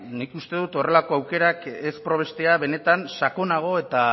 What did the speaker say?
nik uste dut horrelako aukerak ez probestea benetan sakonago eta